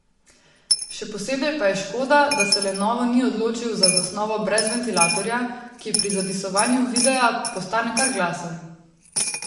Še posebej pa je škoda, da se Lenovo ni odločil za zasnovo brez ventilatorja, ki pri zapisovanju videa postane kar glasen.